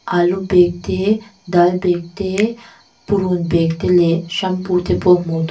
alu bag te dal bag te purun bag te leh shampoo te pawh hmuh tur--